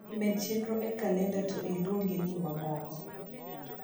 med chenro e kalenda to iluonge ni mamoko